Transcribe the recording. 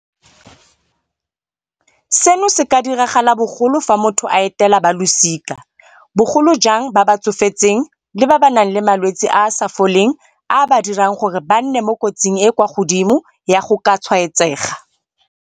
Seno se ka diragala bogolo fa motho a etela balosika, bogolo jang ba ba tsofetseng le ba ba nang le malwetse a a sa foleng a a ba dirang gore ba nne mo kotsing e e kwa godimo ya go ka tshwaetsega.